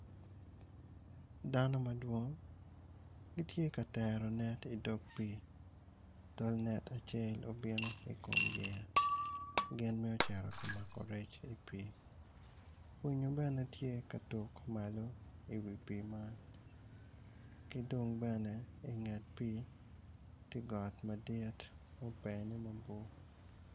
Dano ma dwong gitye ka tero net i dog pii otl net acel obino i kom yeya gin mito cito ka mako rec i pii winyo bene tye ka malo i wi pii man ki dong bene i nget pii ti got madit mubene mabor